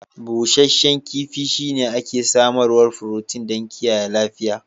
Busasshen kifi shine ake samarwar furotin don kiyaye lafiya